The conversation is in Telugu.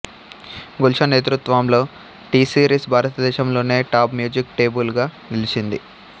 గుల్షన్ నేతృత్వంలో టిసిరీస్ భారతదేశంలోనే టాప్ మ్యూజిక్ లేబుల్ గా నిలిచింది